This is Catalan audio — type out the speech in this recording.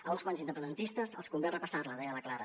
a uns quants independentistes els convé repassar la deia la clara